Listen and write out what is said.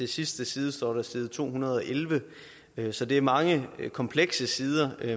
sidste side står side to hundrede og elleve så det er mange komplekse sider